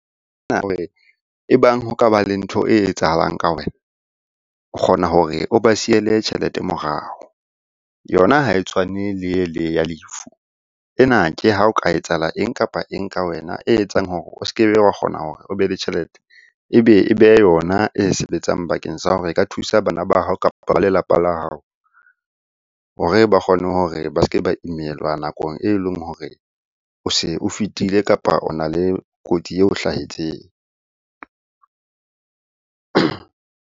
E bang ho ka ba le ntho e etsahalang ka wena, o kgona hore o ba siele tjhelete morao. Yona ha e tshwane le ele ya lefu, ena ke ha o ka etsahala eng kapa eng ka wena e etsang hore o se ke be wa kgona hore o be le tjhelete. Ebe yona e sebetsang bakeng sa hore e ka thusa bana ba hao, kapa ba lelapa la hao hore ba kgone hore ba se ke ba imelwa nakong e leng hore o se o fetile, kapa o na le kotsi eo hlahetseng.